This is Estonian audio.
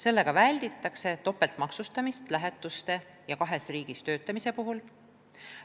Sellega välditakse topeltmaksustamist lähetuste ja kahes riigis töötamise puhul.